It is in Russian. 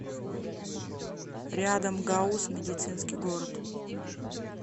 рядом гауз медицинский город